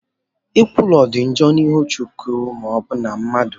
Nkwulu dị njọ n'ihu Chineke ma ọbụna mmadụ.